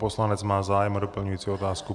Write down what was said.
Poslanec má zájem o doplňující otázku.